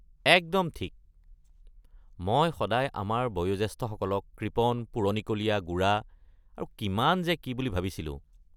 একদম ঠিক! মই সদায় আমাৰ বয়োজ্যেষ্ঠসকলক কৃপণ, পুৰণিকলীয়া, গোড়া আৰু কিমান যে কি বুলি ভাবিছিলোঁ।